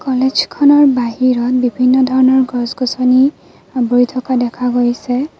কলেজখনৰ বাহিৰত বিভিন্ন ধৰণৰ গছ-গছনি আৱৰি থকা দেখা গৈছে।